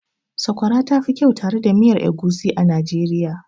Sakwara ta fi kyau tare da miya egusi a Najeriya.